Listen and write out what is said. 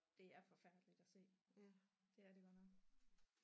Det er forfærdeligt at se det er det godt nok